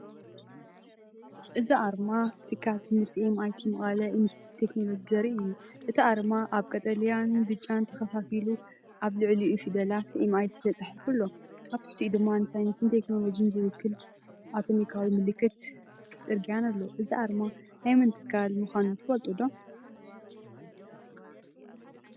እዚ ኣርማ ትካል ትምህርቲ“ኤምኣይቲ–መቐለ ኢንስቲትዩት ቴክኖሎጂ”ዘርኢ እዩ። እቲ ኣርማ ኣብ ቀጠልያን ብጫን ተኸፋፊሉ ኣብ ልዕሊኡ ፊደላት ኤምኣይቲ ተጻሒፉ ኣሎ። ኣብ ትሕቲኡ ድማ ንሳይንስን ቴክኖሎጅን ዝውክል ኣቶሚካዊ ምልክትን ምልክት ጽርግያን ኣሎ። እዚ ኣርማ ናይ መን ትካል ምዃኑ ትፈልጡ ዶ?